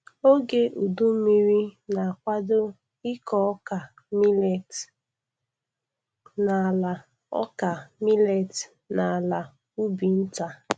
Oge udu mmiri na-kwado ịkọ ọka milet n'ala ọka milet n'ala ubi nta.